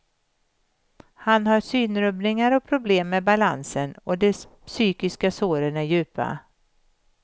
Han har synrubbningar och problem med balansen och de psykiska såren är djupa.